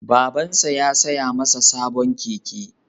Babansa ya saya masa sabon keke